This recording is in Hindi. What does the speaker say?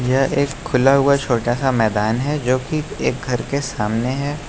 यह एक खुला हुआ छोटा सा मैदान है जो की एक घर के सामने है।